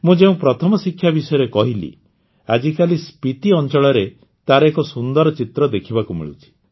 ମୁଁ ଯେଉଁ ପ୍ରଥମ ଶିକ୍ଷା ବିଷୟରେ କହିଲି ଆଜିକାଳି ସ୍ପିତି ଅଂଚଳରେ ତାର ଏକ ସୁନ୍ଦର ଚିତ୍ର ଦେଖିବାକୁ ମିଳୁଛି